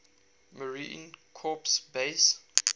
marine corps base